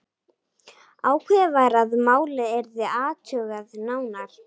Ákveðið var að málið yrði athugað nánar.